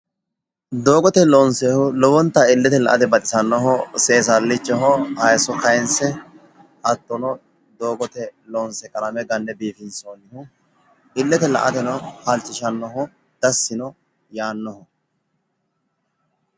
Doogote loonsoonniho lowonta illete la"ate baxisannoho seessallichaho haayso kaayinse hattono doogote loonse qalame ganne biiffinsoonniho, illeteno la"ateno halchishannoho dassi yaannoho.